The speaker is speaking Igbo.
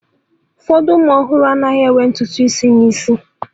Ụfọdụ ụmụ ọhụrụ ana-amụ enweghị ntutu isi n'isi